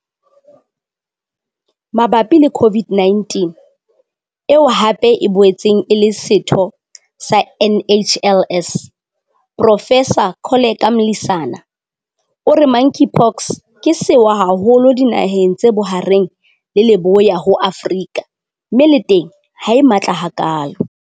Mabapi le COVID-19, eo hape e boetseng e le setho sa NHLS, Profesara Koleka Mlisana, o re Monkeypox ke sewa haholo dinaheng tse Bohareng le Leboya ho Afrika mme le teng ha e matla hakalo.